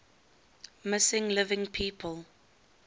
missing living people